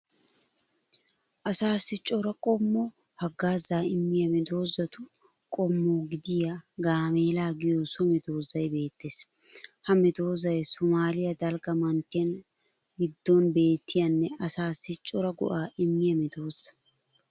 Asaassi cora qommo haggaazzaa immiya medoosatu qommo gidiya gaameela giyo so medoosay beettees. Ha medoosay Somaaliya daligga manttiyan giddon beettiyanne asaassi cora go'aa immiya medoosa.